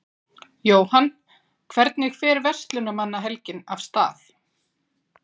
Jóhann, hvernig fer Verslunarmannahelgin af stað?